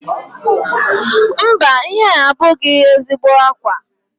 Mba, ihe a abụghị ezigbo ákwà